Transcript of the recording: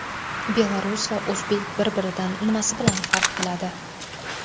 Belarus va o‘zbek bir-biridan nimasi bilan farq qiladi?